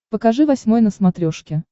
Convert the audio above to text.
покажи восьмой на смотрешке